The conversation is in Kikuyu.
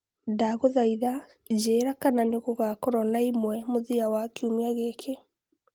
ndagũthaĩtha njĩĩra kana nigugakorwo naĩmwe mũthia wa kĩumĩa giki